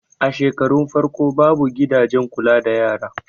A shekarun farko babu gidajen kula da yara